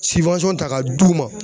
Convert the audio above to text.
siwansɔn ta ka d'u ma